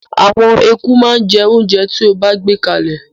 Àwọn eku máa jẹ oúnjẹ tí o bá gbé kalẹ̀.